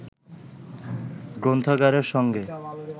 গ্রন্থাগারের সঙ্গে